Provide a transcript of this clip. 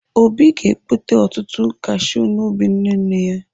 Obi ga-ekpote ọtụtụ kashiu n'ubi nne nne ya.